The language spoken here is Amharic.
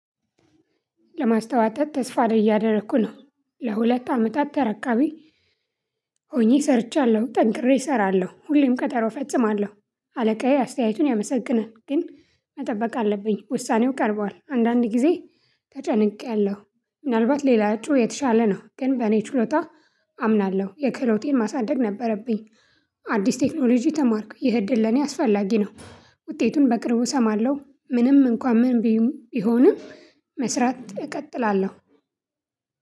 ለማስተወጠጥ ተስፋ እያደረኩ ነው። ለሁለት አመታት ተረካቢ ሆኜ ሰርቻለሁ። ጠንቅሬ እሰራለሁ ሁሌም ቀጠሮ እፈጽማለሁ አለቃዬ አስተያየቱን ያመሰግናል። ግን መጠበቅ አለብኝ ውሳኔው ቀርቧል። አንዳንድ ጊዜ ተጨንቄያለሁ። ምናልባት ሌላ እጩ የተሻለ ነው። ግን በእኔ ችሎታ አምናለሁ የክህሎቴን ማሳደግ ነበረብኝ። አዲስ ቴክኖሎጂ ተማርኩ። ይህ እድል ለኔ አስፈላጊ ነው። ውጤቱን በቅርቡ እሰማለሁ። ምንም እንኳን ምን ቢሆንም። መስራት እቀጥላለሁ።